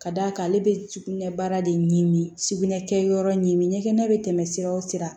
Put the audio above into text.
Ka d'a kan ale bɛ sugunɛ baara de ɲmi sugunɛ kɛ yɔrɔ ɲin ɲɛgɛn bɛ tɛmɛ sira o sira